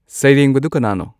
ꯁꯩꯔꯦꯡꯕꯗꯨ ꯀꯅꯥꯅꯣ